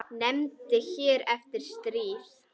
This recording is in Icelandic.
Nefnd hér eftir: Stríð.